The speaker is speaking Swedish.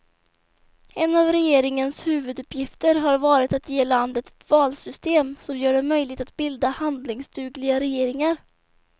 En av regeringens huvuduppgifter har varit att ge landet ett valsystem som gör det möjligt att bilda handlingsdugliga regeringar.